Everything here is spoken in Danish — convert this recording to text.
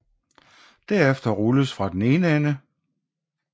Derefter rulles fra den ene ende